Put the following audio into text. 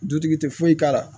Dutigi tɛ foyi k'a la